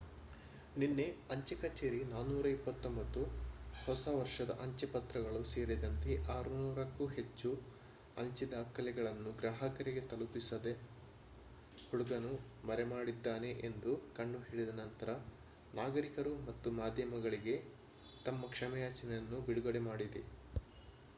ನಿನ್ನೆ ಅಂಚೆ ಕಚೇರಿ 429 ಹೊಸ ವರ್ಷದ ಅಂಚೆ ಪತ್ರಗಳು ಸೇರಿದಂತೆ 600 ಕ್ಕೂ ಹೆಚ್ಚು ಅಂಚೆ ದಾಖಲೆಗಳನ್ನು ಗ್ರಾಹಕರಿಗೆ ತಲುಪಿಸದೆ ಹುಡುಗನು ಮರೆಮಾಡಿದ್ದಾನೆ ಎಂದು ಕಂಡುಹಿಡಿದ ನಂತರ ನಾಗರಿಕರು ಮತ್ತು ಮಾಧ್ಯಮಗಳಿಗೆ ತಮ್ಮ ಕ್ಷಮೆಯಾಚನೆಯನ್ನು ಬಿಡುಗಡೆ ಮಾಡಿದೆ